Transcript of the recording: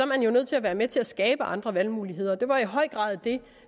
man jo nødt til at være med til at skabe andre valgmuligheder og det var i høj grad det